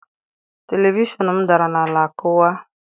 Televishọn m dara n'ala ma kụwaa.